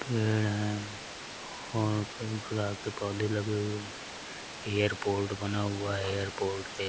पेंड़ हैं और कई गुलाब के पौधे लगे हुये हैं एयरपोर्ट बना हुवा है | एयरपोर्ट पे --